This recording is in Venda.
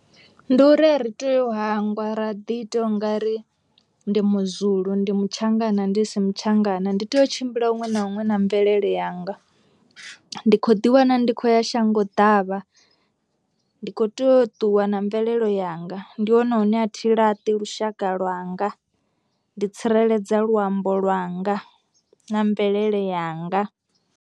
Ndi uri a ri tei u hangwa ra ḓi ita u nga ri ndi muZulu ndi muTshangana ndi si muTshangana. Ndi tea u tshimbila huṅwe na huṅwe na mvelele yanga, ndi kho ḓi wana ndi khou ya shango ḓavha ndi kho tea u ṱuwa na mvelelo yanga ndi hone hune a thi laṱi lushaka lwanga, ndi tsireledza luambo lwanga na mvelele yanga.